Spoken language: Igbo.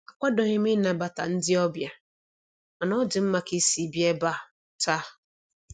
Akwadoghị m ịnabata ndị ọbịa, mana ọ dị mma ka isi bịa ebe a a taa.